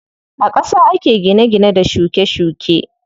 A ƙasa ake gine gine da shuke shuke.